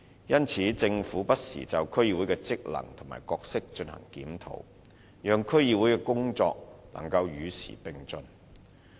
因此，政府不時就區議會的職能和角色進行檢討，讓區議會的工作能與時並進。